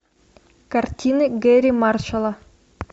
картины гэрри маршалла